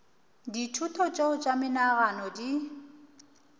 dithuto tšeo tša menagano di